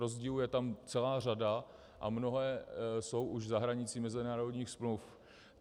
Rozdílů je tam celá řada a mnohé jsou už za hranicí mezinárodních smluv.